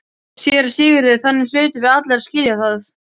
SÉRA SIGURÐUR: Þannig hlutum við allir að skilja það.